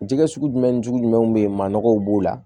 Jɛgɛ sugu jumɛn ni jugu jumɛn bɛ yen maa nɔgɔw b'o la